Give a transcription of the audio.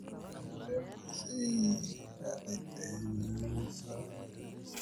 Galactosialidosis waa cillad kaydinta lysosomal dithesa autosomalka ah oo ay sababtay isbeddellada hidda-wadaha CTSA.